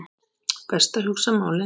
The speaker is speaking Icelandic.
Best að hugsa málið.